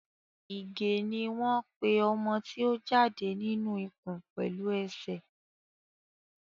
ìgè ní wón pè ọmọ tí o jáde nínú ikùn pẹlú esè.